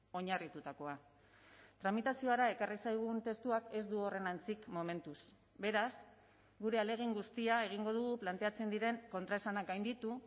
oinarritutakoa tramitaziora ekarri zaigun testuak ez du horren antzik momentuz beraz gure ahalegin guztia egingo dugu planteatzen diren kontraesanak gainditu